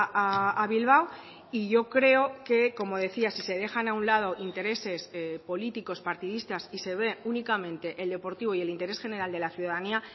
a bilbao y yo creo que como decía si se dejan a un lado intereses políticos partidistas y se ve únicamente el deportivo y el interés general de la ciudadanía